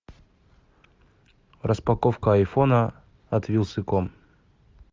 распаковка айфона от вилсаком